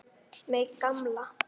Mig gamla.